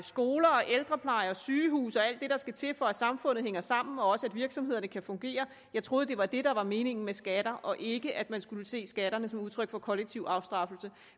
skoler og ældrepleje og sygehuse og alt det der skal til for at samfundet hænger sammen og at virksomhederne kan fungere jeg troede det var det der var meningen med skatter og ikke at man skulle se skatterne som udtryk for kollektiv afstraffelse